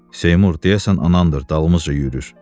Seymur, deyəsən anandır, dalımızca yürür.